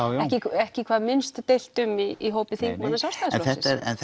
ekki hvað minnst deilt um í hópi þingmanna Sjálfstæðisflokksins en